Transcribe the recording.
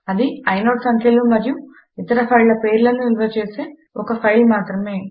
అది ఐనోడ్ సంఖ్యలు మరియు ఇతర ఫైళ్ళ పేర్లను నిలువ చేసే ఒక ఫైలు మాత్రమే